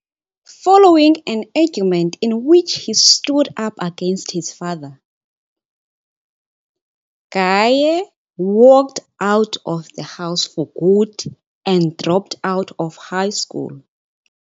Following an argument in which he stood up against his father, Gaye walked out of the house for good and dropped out of high school.